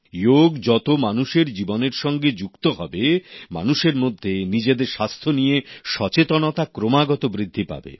যোগ যত মানুষের জীবনের সঙ্গে যুক্ত হবে মানুষের মধ্যে নিজেদের স্বাস্থ্য নিয়ে সচেতনতা ক্রমাগত বৃদ্ধি পাবে